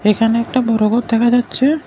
এখানে একটা বড় ঘর দেখা যাচ্ছে।